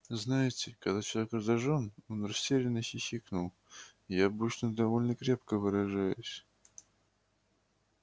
знаете когда человек раздражён он растерянно хихикнул я обычно довольно крепко выражаюсь